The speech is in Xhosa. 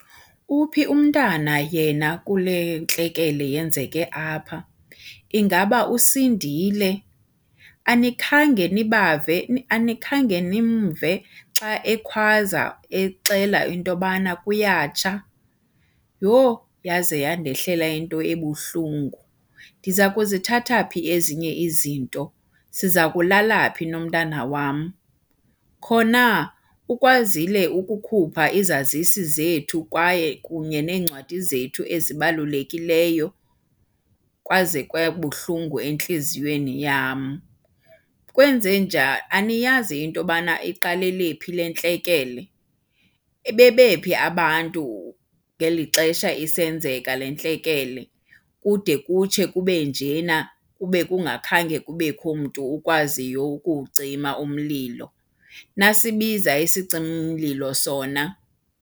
Uphi umntana yena kule ntlekele yenzeke apha? Ingaba usindile? Anikhange nibave anikhange nimve xa ekhwaza exela into yobana kuyatsha? Yho, yaze yandehlela into ebuhlungu. Ndiza kuzithatha phi ezinye izinto? Siza kulala phi nomntana wam? Khona, ukwazile ukukhupha izazisi zethu kwaye kunye neencwadi zethu ezibalulekileyo? Kwaze kwabuhlungu entliziyweni yam. Kwenze , aniyazi into yobana iqalele phi le ntlekele? Bebe phi abantu ngeli xesha isenzeka le ntlekele kude kutshe kube njena, kube kungakhange kubekho mntu ukwaziyo ukuwucima umlilo? Nasibiza isicimi-mlilo sona?